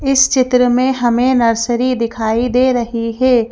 इस चित्र में हमें नर्सरी दिखाई दे रही है।